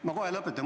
Ma kohe lõpetan.